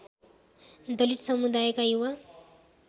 दलित समुदायका युवा